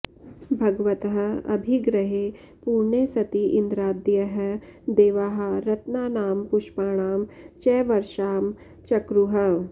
भगवतः अभिग्रहे पूर्णे सति इन्द्रादयः देवाः रत्नानां पुष्पाणां च वर्षां चक्रुः